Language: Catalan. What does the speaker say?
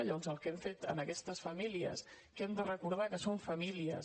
llavors el que hem fet amb aquestes famílies que hem de recordar que són famílies